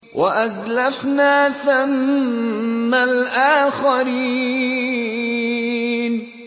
وَأَزْلَفْنَا ثَمَّ الْآخَرِينَ